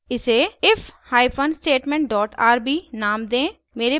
इसे if hyphen statement dot rb नाम दें